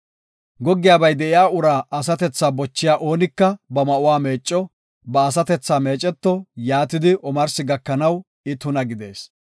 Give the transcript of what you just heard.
“Goggiyabay de7iya uraa asatethaa bochiya oonika ba ma7uwa meecco; ba asatethaa meeceto; yaatidi omarsi gakanaw I tuna gidees.